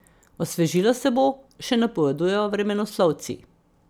Osvežilo se bo, še napovedujejo vremenoslovci.